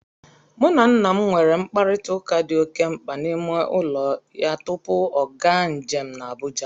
Mụ na nna m nwere mkparịtaụka dị oke mkpa n' ime ọnụ ụlọ ya tupu ọ gaa njem n' Abụja